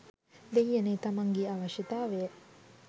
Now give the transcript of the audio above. දෙයියනේ තමන්ගෙ අවශ්‍යතාවය